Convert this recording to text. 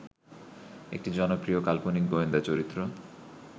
একটি জনপ্রিয় কাল্পনিক গোয়েন্দা চরিত্র